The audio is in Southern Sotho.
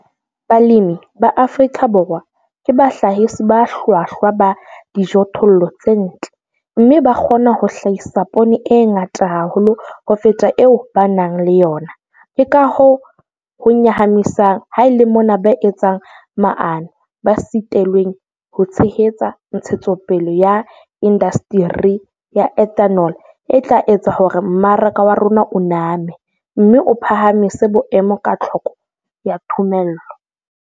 Balemi ba Afrika Borwa ke bahlahisi ba hlwahlwa ba dijothollo tse ntle, mme ba kgona ho hlahisa poone e ngata haholo ho feta eo ba nang le yona, ke ka hoo ho nyahamisang ha e le mona ba etsang maano ba sitilweng ho tshehetsa ntshetsopele ya indasteri ya ethanol e tla etsa hore mmaraka wa rona o name, mme o phahamise boemo ba tlhoko ya thomello.